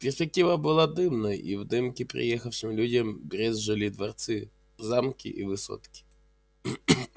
перспектива была дымной и в дымке приехавшим людям брезжили дворцы замки и высотки